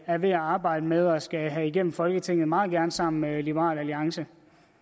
er ved at arbejde med og skal have igennem folketinget meget gerne sammen med liberal alliance